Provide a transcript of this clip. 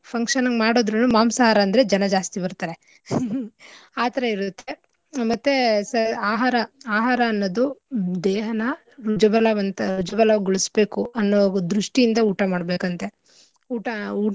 Function ಇಗ್ ಮಾಡುದ್ರುನು ಮಾಂಸಾಹಾರ ಅಂದ್ರೆ ಜನ ಜಾಸ್ತಿ ಬರ್ತಾರೆ. ಆಥರ ಇರುತ್ತೆ ಆ ಮತ್ತೇ ಸ ಆಹಾರ ಆಹಾರ ಅನ್ನೋದು ದೇಹನ ಜುಗಲಬ್ಗಂತ ಜುಬಲಗೊಳಸ್ಬೇಕು ಅನ್ನೋ ಉದ್ರುಷ್ಟಿಯಿಂದ ಊಟ ಮಾಡ್ಬೇಕಂತೆ ಊಟ ಊಟನ.